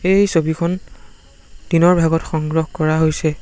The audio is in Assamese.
এই ছবিখন দিনৰ ভাগত সংগ্ৰহ কৰা হৈছে।